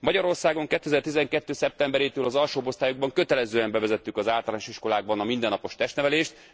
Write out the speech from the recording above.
Magyarországon 2012 szeptemberétől az alsóbb osztályokban kötelezően bevezettük az általános iskolákban a mindennapos testnevelést.